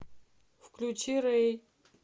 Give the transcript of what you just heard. включи рэй